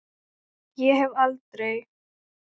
Ég hef aldrei.